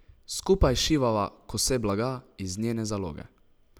Skupaj šivava kose blaga iz njene zaloge.